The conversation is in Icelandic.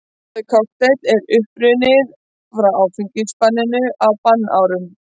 Orðið kokteill er upprunnið frá áfengisbanninu á bannárunum.